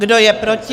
Kdo je proti?